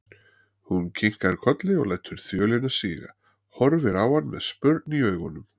Hún kinkar kolli og lætur þjölina síga, horfir á hann með spurn í augunum.